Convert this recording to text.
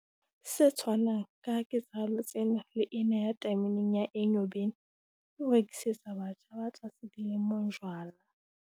Se tshwanang ka ketsahalo tsena le ena ya tameneng ya Enyobeni, ke ho rekisetsa batjha ba tlase dilemong jwala.